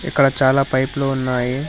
ఇక్కడ చాలా పైపులు ఉన్నాయి.